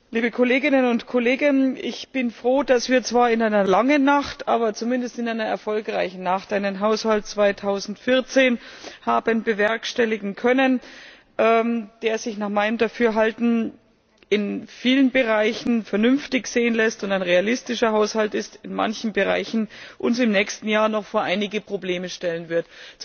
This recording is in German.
Liebe Kolleginnen und Kollegen, ich bin froh, dass wir in einer zwar langen, aber zumindest erfolgreichen Nacht einen Haushalt 2014 haben bewerkstelligen können, der sich nach meinem Dafürhalten in vielen Bereichen vernünftig sehen lässt und ein realistischer Haushalt ist, in manchen Bereichen uns im nächsten Jahr aber noch vor einige Probleme stellen wird.